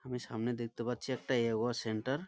আমি সামনে দেখতে পাচ্ছি একটা এ. ও. সেন্টার ।